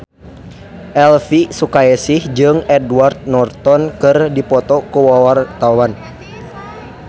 Elvy Sukaesih jeung Edward Norton keur dipoto ku wartawan